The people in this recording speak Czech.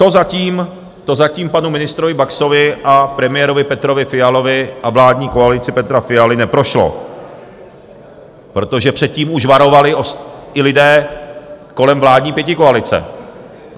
To zatím panu ministrovi Baxovi a premiérovi Petrovi Fialovi a vládní koalici Petra Fialy neprošlo, protože před tím už varovali i lidé kolem vládní pětikoalice.